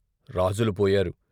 రాజులు పోయారు.